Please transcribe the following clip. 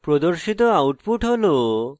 প্রদর্শিত output হল